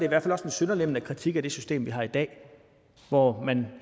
i hvert fald også en sønderlemmende kritik af det system vi har i dag hvor man